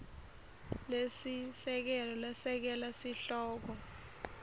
lesisekelo lesekela sihloko